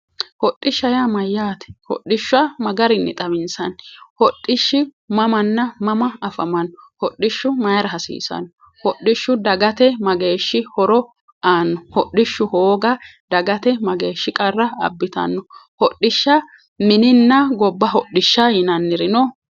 Hodhishsha yaa mayyaate? Hodhishsha ma garinni xawinsanni? Ko hodhishshi mamanna mama afamanno? Hodhishshu mayiira hasiissanno? Hodhishshu dagate mageeshshi horo aanno? Hodhishshu hooga dagate mageeshshi qarra abbitanno? Hodhishsha mininna gobba hodhishsha